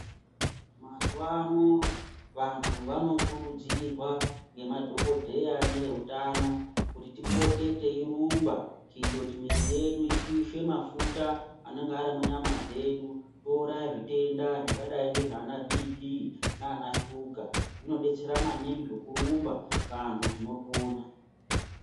Mazuva ano vantu vanokurudzirwa nemadhokodheya nevehutano kuti tipote teirongwa kuti muviri wedu upishe mafuta anonga Ari munyama dzedu touraya zvitenda zvakadai nana BP nana shuga zvinodetsera maningi zvekurumba vantu tinopona.